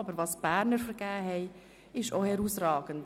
Aber die Vergabe der Berner war auch herausragend.